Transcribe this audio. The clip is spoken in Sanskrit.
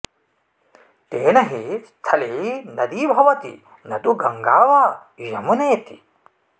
तेन हि स्थली नदी भवति न तु गङ्गा वा यमुनेति